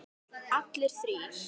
Allir þrír?